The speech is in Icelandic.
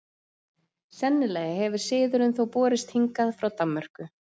sennilega hefur siðurinn þó borist hingað frá danmörku